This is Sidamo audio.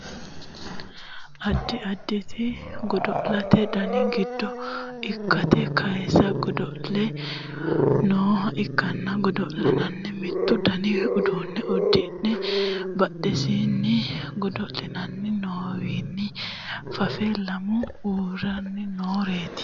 addi additi godo'lete dani giddo lekkate kaase godo'le nooha ikkanna godo'laano mittu dani uduunne uddidhe badhensaanni godo'litanni nooriwinni faffe lamu uurreena nooreeti